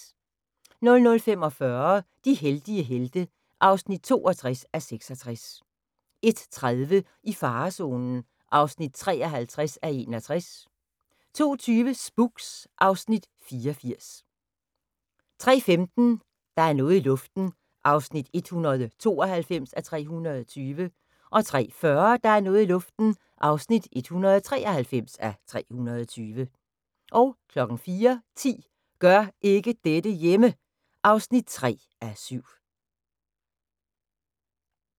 00:45: De heldige helte (62:66) 01:30: I farezonen (53:61) 02:20: Spooks (Afs. 84) 03:15: Der er noget i luften (192:320) 03:40: Der er noget i luften (193:320) 04:10: Gør ikke dette hjemme! (3:7)